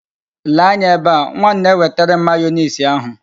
Lee anya ebe a! Nwa m na-ewetere m mayoneesi ahụ.